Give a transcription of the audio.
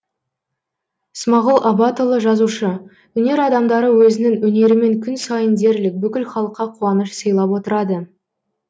смағұл абатұлы жазушы өнер адамдары өзінің өнерімен күн сайын дерлік бүкіл халыққа қуаныш сыйлап отырады